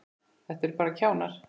Þetta eru bara kjánar.